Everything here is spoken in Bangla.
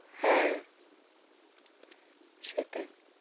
হ্যাঁ। সেটাই তো।